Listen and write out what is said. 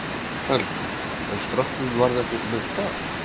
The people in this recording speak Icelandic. Helga: En stráknum varð ekkert meint af?